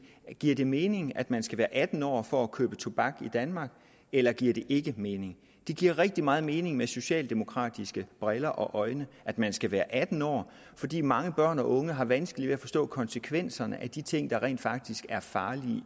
giver det mening at man skal være atten år for at købe tobak i danmark eller giver det ikke mening det giver rigtig meget mening set med socialdemokratiske briller og øjne at man skal være atten år fordi mange børn og unge har vanskeligt ved at forstå konsekvenserne af de ting der rent faktisk er farlige